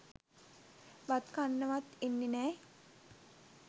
බත් කන්නවත් එන්නේ නෑ.